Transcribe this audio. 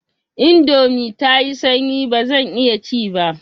Indomin tayi sanyi bazan iya ci ba.